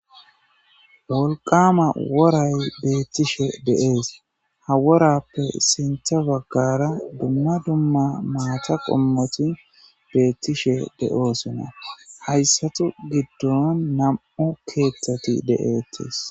Wolqama woray beettishe dee'es ha worappe sintha baggara dumma dumma maata qommoti beettishe de'oosunna hayssatu giddon nam'u keeththati de'eettes.